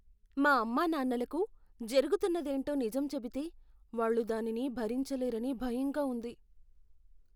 మా అమ్మానాన్నలకు జరుగుతున్నదేంటో నిజం చెబితే, వాళ్ళు దానిని భరించలేరని భయంగా ఉంది.